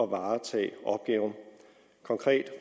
varetage opgaven konkret